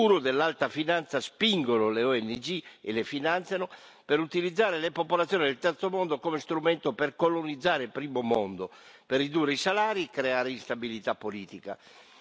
I guru dell'alta finanza spingono le ONG e le finanziano per utilizzare le popolazioni del terzo mondo come strumento per colonizzare il primo mondo, per ridurre i salari e creare instabilità politica.